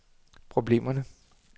problemerne